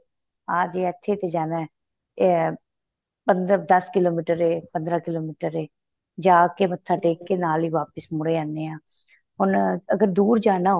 ਆਂ ਜ਼ੇ ਇਥੇ ਤੇ ਜਾਣਾ ਏਹ ਪੰਦਰਾਂ ਦੱਸ ਕਿਲੋਮਾਰ ਏ ਪੰਦਰਾਂ ਕਿਲੋਮੀਟਰ ਏ ਜਾਂ ਕੇ ਮੱਥਾ ਟੇਕ ਕੇ ਨਾਲ ਹੀ ਵਾਪਿਸ ਮੁੜੇ ਆਨੇ ਹਾਂ ਹੁਣ ਅਗਰ ਦੂਰ ਜਾਣਾ